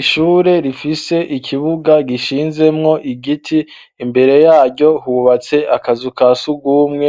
Ishure rifise ikibuga gishinzemwo igiti imbere yaryo hubatse akazu ka sugumwe